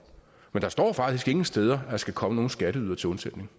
men der står faktisk ingen steder at man skal komme nogen skatteydere til undsætning